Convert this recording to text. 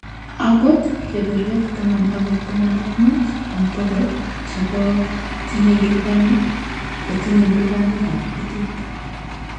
Akot, keberwek taman akoi taman ak mut en bokol chebo chetinye lubanik kotinye lubanikab kuntit.